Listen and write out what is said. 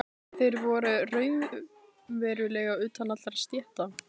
Þeir voru raunverulega utan allra stétta.